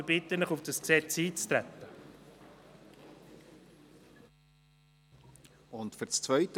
Ich bitte Sie, auf dieses Gesetz einzutreten.